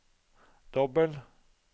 dobbel